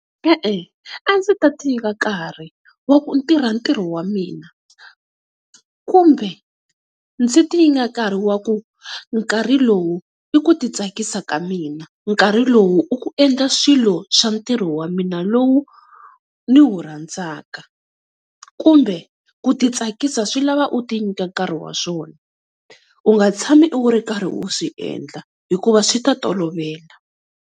E-e a ndzi ta tiva nkarhi wa ku tirha ntirho wa mina, kumbe ndzi ti nyika nkarhi wa ku nkarhi lowu i ku ti tsakisa ka mina. Nkarhi lowu i ku endla swilo swilo swa ntirho wa mina lowu ni wu rhandzaka, kumbe ku ti tsakisa swi lava u ti nyika nkarhi wa swona u nga tshami u ri karhi u swi endla hikuva swi ta tolovela.